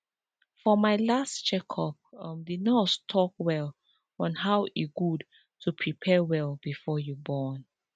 for my last check up um the nurse talk well on how e good to prepare well before you born